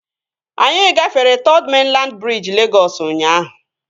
Anyị gafere Third Mainland briji Legọs ụnyaahụ